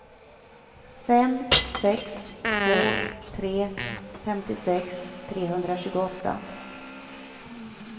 fem sex två tre femtiosex trehundratjugoåtta